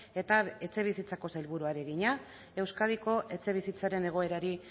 eta etxebizitzako sailburuari egina euskadiko etxebizitzaren egoerari